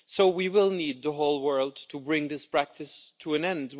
We will need the whole world to bring this practice to an end.